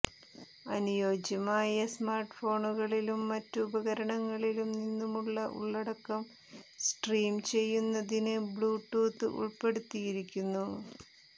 അനുയോജ്യമായ സ്മാർട്ട്ഫോണുകളിലും മറ്റ് ഉപകരണങ്ങളിലും നിന്നുള്ള ഉള്ളടക്കം സ്ട്രീം ചെയ്യുന്നതിന് ബ്ലൂടൂത്ത് ഉൾപ്പെടുത്തിയിരിക്കുന്നു